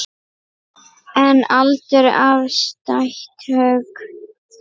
En aldur er afstætt hugtak.